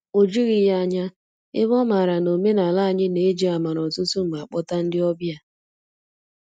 O jughị ya ányá, ebe ọ maara na omenala anyị na-eji amara ọtụtụ mgbe akpọta ndị ọbịa.